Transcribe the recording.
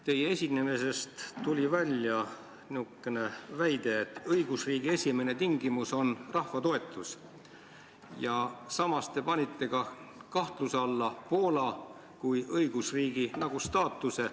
Teie esinemisest tuli välja niisugune väide, et õigusriigi esimene tingimus on rahva toetus, ja samas te panite kahtluse alla Poola kui õigusriigi staatuse.